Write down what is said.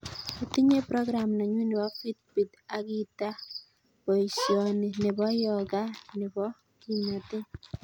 Ityin prokram nenyun nebo fitbit ak itaa boisioni nebo yoga nebo kimnatet